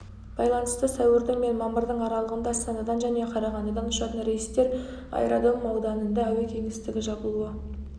байланысты сәуірдің мен мамырдың аралығында астанадан және қарағандыдан ұшатын рейстер аэродром ауданында әуе кеңістігі жабылуы